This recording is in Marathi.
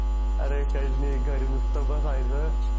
अरे काहीच नाही घरी नुसतं बसायचं